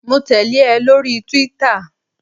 Mo tẹ̀lé ẹ lórí túwítà